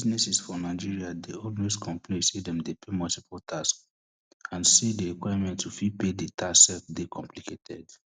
dinesses for nigeria dey always complain say dem dey pay multiple tax and say di requirements to fit pay di tax sef dey complicated